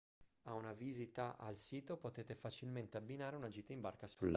a una visita al sito potete facilmente abbinare una gita in barca sul lago